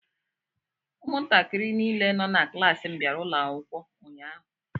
Ụmụntakịrị niile nọ na klaasị m bịara akwụkwọ ụnyaahụ.